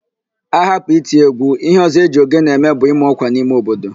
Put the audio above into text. Ahapụ iti égwú, íhé ọ̀zọ́ e ji ogene eme bụ ịma ọ́kwà n'ime obodo